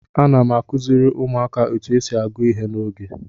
Ana m akụziri ụmụaka otu esi agụ ihe n'oge.